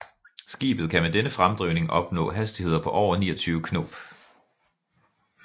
Skibet kan med denne fremdrivning opnå hastigheder på over 29 knob